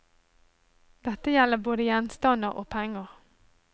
Dette gjelder både gjenstander og penger.